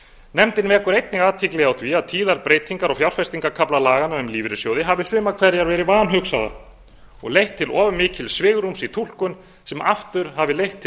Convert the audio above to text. nefndin vekur einnig athygli á því að tíðar breytingar á fjárfestingarkafla laganna um lífeyrissjóði hafi sumar hverjar verið vanhugsaðar og leitt til of mikils svigrúms í túlkun sem aftur hafi leitt til